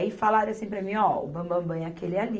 Aí falaram assim para mim, ó, o bambambã é aquele ali.